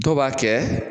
Dɔw b'a kɛ